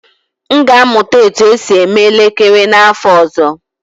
M ga-amụta otú e si eme elekere n'afọ ọzọ